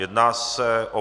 Jedná se o